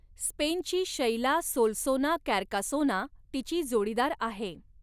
स्पेनची Sheila Solsona Carcasona तिची जोडीदार आहे.